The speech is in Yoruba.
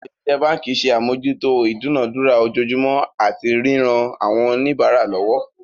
Àwọn òṣìṣẹ́ báǹkì ṣe àmójútó ìdúnadúrà ojoojúmọ́ àti ríran àwọn oníbàárà lọwọ́.